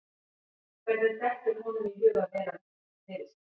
Hvernig dettur honum í hug að vera að velta þessu fyrir sér?